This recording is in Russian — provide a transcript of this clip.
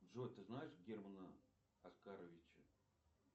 джой ты знаешь германа оскаровича